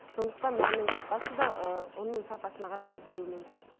сондықтан нанның сапасы да ұнның сапасына қарай өзеруі мүмкін